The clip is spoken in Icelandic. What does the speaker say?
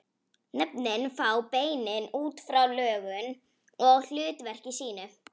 Nöfnin fá beinin út frá lögun og hlutverki sínu.